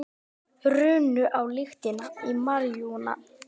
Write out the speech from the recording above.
Runnu á lyktina af maríjúana